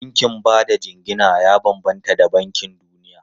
Bankin ba da jingina ya bambanta da bankin duniya.